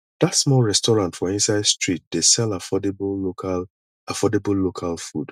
dat small restaurant for inside street dey sell affordable local affordable local food